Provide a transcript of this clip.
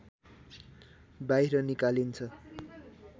बाहिर निकालिन्छ